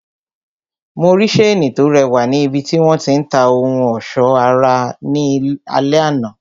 Mo rí seeni to rẹwà ni ibiti wọn ti ń ta ohun ọsọ ara ní alẹ àná.